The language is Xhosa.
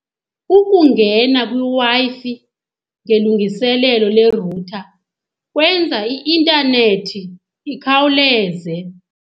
Ukungena kwiWi-Fi ngelungiselelo le-router kwenza i-intanethi ikhawuleze.